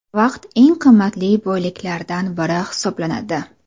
Vaqt eng qimmatli boyliklardan biri hisoblanadi.